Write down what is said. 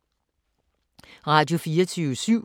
Radio24syv